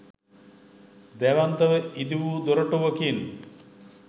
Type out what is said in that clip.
දැවැන්තව ඉදිවූ දොරටුවකින්